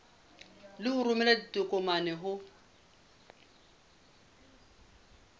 le ho romela ditokomane ho